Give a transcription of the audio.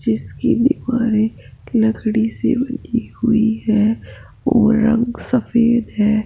जिसकी दीवारे लकड़ी से बनी हुई है और रंग सफेद है।